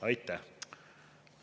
Aitäh!